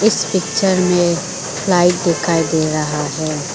इस पिक्चर में फ़्लाइट दिखाई दे रहा है।